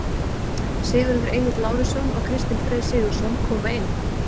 Sigurður Egill Lárusson og Kristinn Freyr Sigurðsson koma inn.